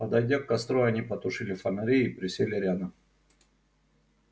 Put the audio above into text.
подойдя к костру они потушили фонари и присели рядом